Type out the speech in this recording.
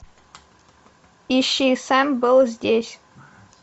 ищи сэм был здесь